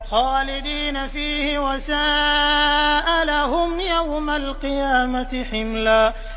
خَالِدِينَ فِيهِ ۖ وَسَاءَ لَهُمْ يَوْمَ الْقِيَامَةِ حِمْلًا